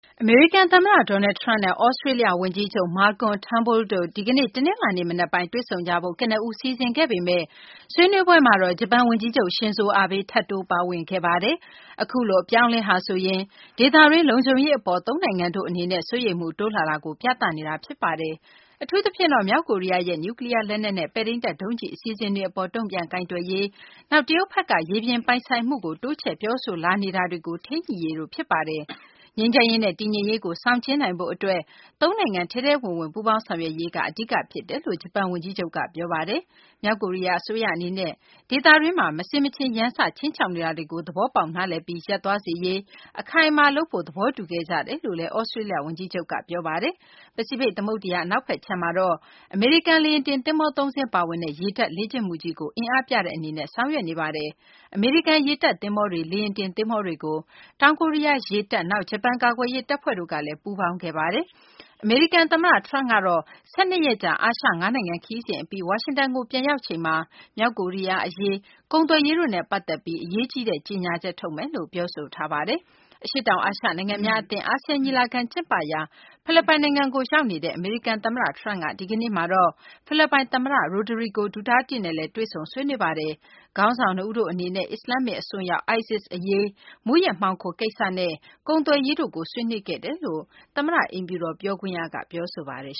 အမေရိကန် သမ္မတ Donald Trump နဲ့ သြစတေးလျ ဝန်ကြီးချုပ် Malcolm Trunbull တို့ ဒီကနေ့ တနလာၤနေ့ မနက်ပိုင်း တွေ့ဆုံကြဖို့ ကနဦး စီစဉ်ခဲ့ပေမယ့် ဆွေးနွေးပွဲမှာတော့ ဂျပန် ဝန်ကြီးချုပ် Shinzo Abe ထပ်တိုးပါဝင်ခဲ့ပါတယ်။ အခုလို အပြောင်းအလဲဟာဆိုရင် ဒေသတွင်း လုံခြုံရေး အပေါ် သုံးနိုင်ငံတို့ အနေနဲ့ စိုးရိမ်မှု တိုးလာတာကို ပြသနေတာ ဖြစ်ပါတယ်။ အထူးသဖြင့်တော့ မြောက်ကိုရီးယားရဲ့ နျူးကလီးယား လက်နက်နဲ့ ပဲ့ထိန်းတပ် ဒုံးကျည် အစီအစဉ်တွေ အပေါ် တုံ့ပြန်ကိုင်တွယ်ရေး၊ နောက် တရုတ်ဘက်က ရေပြင်ပိုင် ဆိုင်မှုကို တိုးချဲ့ ပြောဆိုလာနေတာတွေကို ထိန်းညှိရေးတို့ ဖြစ်ပါတယ်။ ငြိမ်းချမ်းရေးနဲ့ တည်ငြိမ်ရေးကို ဆောင်ကျဉ်းနိုင်ဖို့ အတွက် သုံးနိုင်ငံ ထဲထဲဝင်ဝင် ပူးပေါင်းဆောင်ရွက်ရေးက အဓိက ဖြစ်ပါတယ်လို့ ဂျပန် ဝန်ကြီးချုပ်က ပြောဆိုပါတယ်။ မြောက်ကိုရီးယား အစိုးရ အနေနဲ့ ဒေသတွင်းမှာ မဆင်မခြင် ရန်စ ခြိမ်းခြောက်နေတာတွေကို သဘောပေါက်နားလည်ပြီး ရပ်သွားစေရေး အခိုင်အမာ လုပ်ဖို့ သဘောတူခဲ့ကြတယ်လို့လည်း သြစတေးလျ ဝန်ကြီးချုပ်က ပြောပါတယ်။ ပစိဖိတ် သမုဒ္ဒရာ အနောက်ခြမ်းမှာတော့ အမေရိကန် လေယာဉ်တင် သဘောၤ ၃ စင်း ပါဝင်တဲ့ ရေတပ်လေ့ကျင့်မှုကြီးကို အင်အားပြတဲ့ အနေနဲ့ ဆောင်ရွက်နေပါတယ်။ အမေရိကန် ရေတပ် သဘောၤတွေ၊ လေယာဉ်တင် သဘောၤတွေကို တောင်ကိုရီးယား ရေတပ်၊ နောက် ဂျပန် ကာကွယ်ရေး တပ်ဖွဲ့တို့ကလည်း ပူးပေါင်းခဲ့ပါတယ်။ အမေရိကန် သမ္မတ Trump ကတော့ ၁၂ ရက်ကြာ အာရှ ၅ နိုင်ငံ ခရီးစဉ် အပြီး ဝါရှင်တန်ကို ပြန်ရောက်ချိန်မှာ မြောက်ကိုရီးယား အရေး၊ ကုန်သွယ်ရေးတို့နဲ့ ပတ်သက်ပြီး အရေးကြီးတဲ့ ကြေညာချက် ထုတ်မယ်လို့ ပြောဆိုထားပါတယ်။ အရှေ့တောင် အာရှ နိုင်ငံများအသင်း ASEAN ညီလာခံ ကျင်းပရာ ဖိလစ်ပိုင်နိုင်ငံကို ရောက်နေတဲ့ အမေရိကန် သမ္မတ Trump က ဒီကနေ့မှာတော့ ဖိလစ်ပိုင် သမ္မတ Rodrigo Duterte နဲ့လည်း တွေ့ဆုံ ဆွေးနွေးခဲ့ပါတယ်။ ခေါင်းဆောင် နှစ်ဦးတို့ အနေနဲ့ အစ္စလာမ္မစ် အစွန်းရောက် ISIS အရေး၊ မူးယစ်မှောင်ခို အရေးနဲ့ ကုန်သွယ်ရေးတို့ကို ဆွေးနွေးခဲ့တယ်လို့ အမေရိကန် သမ္မတ အိမ်ဖြူတော် ပြောခွင့်ရက ပြောဆိုထားပါတယ်